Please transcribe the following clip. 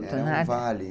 Era um vale.